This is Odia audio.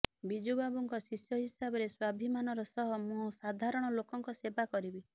ବିଜୁ ବାବୁଙ୍କ ଶିଷ୍ୟ ହିସାବରେ ସ୍ୱାଭିମାନର ସହ ମୁଁ ସାଧାରଣ ଲୋକଙ୍କ ସେବା କରିବି